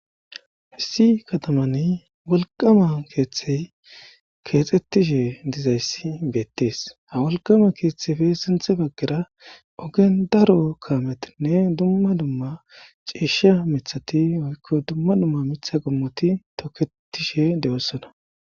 Hissi katamani wolqama keeththey keexxettishe dizayssi beettees ha wolqama keeththefe sinthe baggera ogen daro kaametinne dumma dumma ciisha mithati oykko dumma dumma mitha qommoti toketishe de'ossona.